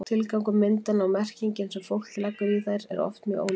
tilgangur myndanna og merkingin sem fólk leggur í þær eru oft mjög ólík